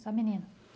Só menino?